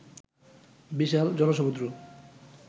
বিশাল জনসমূদ্র